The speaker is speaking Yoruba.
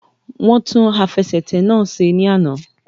Wọ́n tún àfẹsẹ̀tẹ̀ náà ṣe ní àná